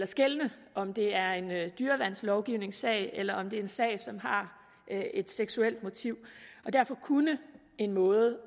skelne om det er en dyreværnslovgivningssag eller om det er en sag som har et seksuelt motiv derfor kunne en måde